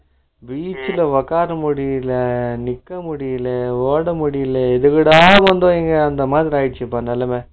beach ல ஒக்கார முடியல நிக்க முடியல ஓட முடியல இதுவிடாது வந்து அந்தமாதிரி ஆகிடுச்சுப்பா நிளம